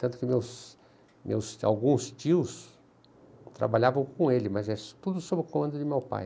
Tanto que meus meus, alguns tios trabalhavam com ele, mas tudo sob o comando do meu pai.